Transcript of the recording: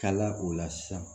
Kala o la sisan